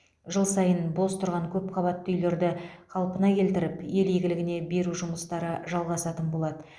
жыл сайын бос тұрған көпқабатты үйлерді қалпына келтіріп ел игілігіне беру жұмыстары жалғасатын болады